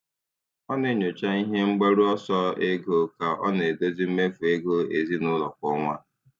Ọ na-enyocha ihe mgbaru ọsọ ego ka ọ na-edozi mmefu ego ezinụlọ kwa ọnwa.